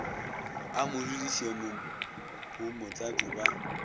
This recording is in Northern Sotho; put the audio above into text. a mo dudišemo bomotlatšo ba